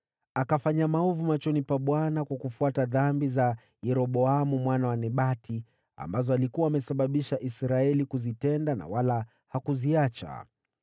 Akafanya maovu machoni pa Bwana kwa kufuata dhambi za Yeroboamu mwana wa Nebati, ambazo alikuwa amesababisha Israeli kuzitenda, na wala hakuziacha.